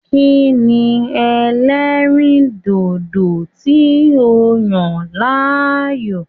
Kí ni ẹlẹ́rìndòdò tí o yàn láàyò?